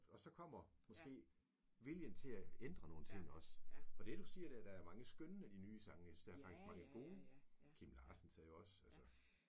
Og så kommer måske viljen til at ændre nogle ting også. Og det du siger der der er faktisk mange skønne af de nye sange jeg synes der er faktisk mange gode. Kim Larsens er jo også altså